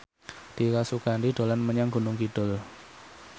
Dira Sugandi dolan menyang Gunung Kidul